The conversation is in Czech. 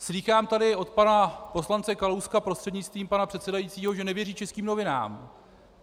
Slýchám tady od pana poslance Kalouska, prostřednictvím pana předsedajícího, že nevěří českým novinám.